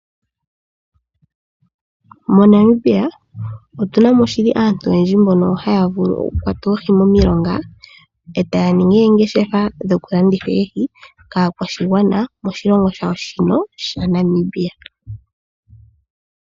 MoNamibia omuna aantu oyendji mbono haya vulu okukwata oohi momeya e taya ningi oongeshefa dhokulanditha oohi kaakwashigwana moshilongo shawo Namibia.